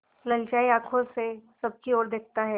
ललचाई आँखों से सबकी और देखता है